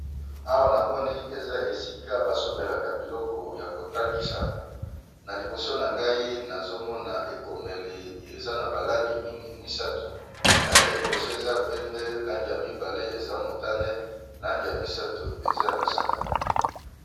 Awa na moni eza esika basombelaka biloko ya kotangisa na liboso na ngai nazomona ekomeli eza na balangi mingi misato langi ya liboso eza pembe langi ya mibale eza motane langi ya misato eza ya mosaka.